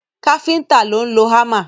Káfíntà ló ń lọ hámà.